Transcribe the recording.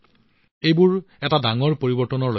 এইবোৰ এটা ডাঙৰ পৰিৱৰ্তনৰ লক্ষণ